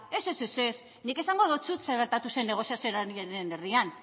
ez ez nik esango deutsut zer gertatu zen negoziazioaren erdian